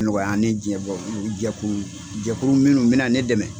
Nɔgɔya ni diɲɛ bɛɛ ye, jɛkuru jɛkuru minnu bɛna ne dɛmɛ.